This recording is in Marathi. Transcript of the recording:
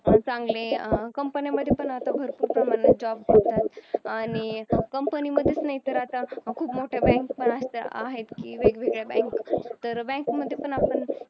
चांगले company मध्ये पण आता भरपूर प्रमाणात job आणि company मध्येच नाही तर आता खूप मोठ्या bank आहेत हे वेगवेगळ्या bank तर bank मध्ये पण आपण